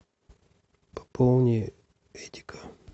пополни эдика